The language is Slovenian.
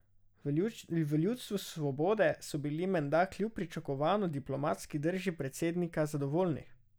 V Ljudstvu svobode so bili menda kljub pričakovano diplomatski drži predsednika zadovoljni.